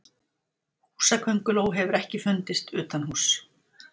húsakönguló hefur ekki fundist utanhúss